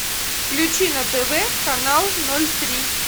включи на тв канал ноль три